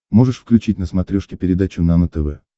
можешь включить на смотрешке передачу нано тв